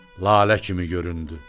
Lalə kimi göründü.